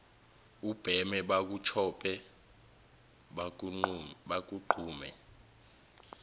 ubheme bakutshope bakugqume